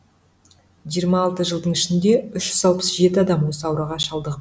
жиырма алты жылдың ішінде үш жүз алпыс жеті адам осы ауруға шалдығып